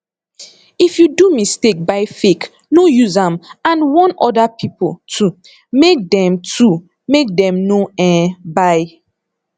if you do mistake buy fake no use am and warm oda pipo too make dem too make dem no um buy